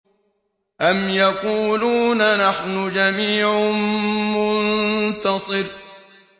أَمْ يَقُولُونَ نَحْنُ جَمِيعٌ مُّنتَصِرٌ